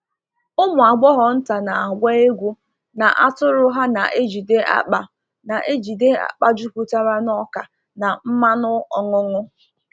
Ụmụ agbọghọ nta na-agba egwu na atụrụ ha na-ejide akpa na-ejide akpa juputara n’ọka na mmanụ ọṅụṅụ.